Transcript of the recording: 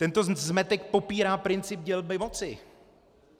Tento zmetek popírá princip dělby moci.